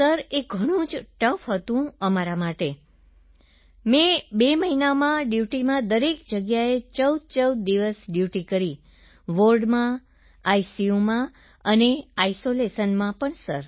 sir એ ઘણું tough હતું અમારા માટે મેં 2 મહિના ડ્યૂટીમાં દરેક જગ્યાએ 1414 દિવસ ડ્યૂટી કરી વોર્ડમાં આઈસીયુમાં આઈસોલેશનમાં સર